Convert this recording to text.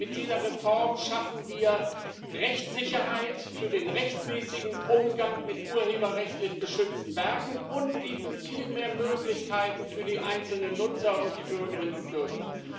Mit dieser Reform schaffen wir Rechtssicherheit für den rechtmäßigen Umgang mit urheberrechtlich geschützten Werken und bieten viel mehr Möglichkeiten für die einzelnen Nutzer und die Bürgerinnen und Bürger.